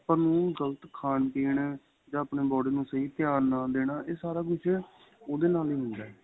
ਆਪਾਂ ਨੂੰ ਗ਼ਲਤ ਖਾਣ ਪੀਣ ਜਾਂ ਆਪਣੀ body ਨੂੰ ਸਹੀ ਧਿਆਨ ਨਾ ਦੇਣਾ ਏਹ ਸਾਰਾ ਕੁੱਝ ਉਹਦੇ ਨਾਲ ਹੀ ਹੁੰਦਾ